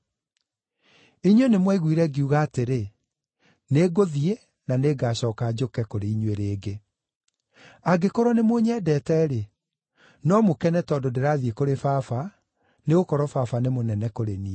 “Inyuĩ nĩmwaiguire ngiuga atĩrĩ, ‘Nĩngũthiĩ na nĩngacooka njũke kũrĩ inyuĩ rĩngĩ.’ Angĩkorwo nĩmũnyendete-rĩ, no mũkene tondũ ndĩrathiĩ kũrĩ Baba, nĩgũkorwo Baba nĩ mũnene kũrĩ niĩ.